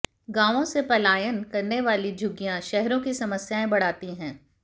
गांवों से पलायन करने वालों की झुग्गियां शहरों की समस्याएं बढ़ाती हैं